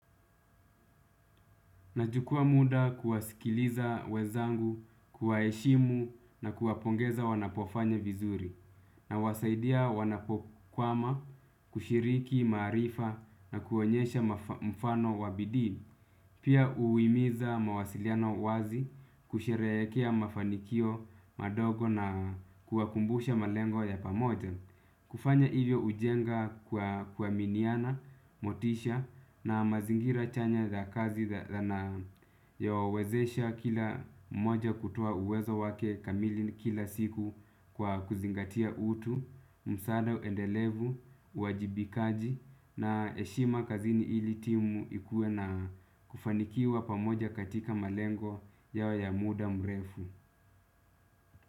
Nachukua muda kuwasikiliza wezangu, kuwaheshimu na kuwapongeza wanapofanya vizuri nawasaidia wanapokwama kushiriki maarifa na kuonyesha mfano wa bidii. Pia uimiza mawasiliano wazi kusherehekea mafanikio madogo na kuwakumbusha malengo ya pamoja. Kufanya hivyo ujenga kuaminiana, motisha na mazingira chanya za kazi na yawawezesha kila mmoja kutoa uwezo wake kamili kila siku kwa kuzingatia utu, msaada uendelevu, uwajibikaji na heshima kazini ili timu ikue na kufanikiwa pamoja katika malengo yawe ya muda mrefu.